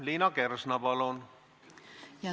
Liina Kersna, palun!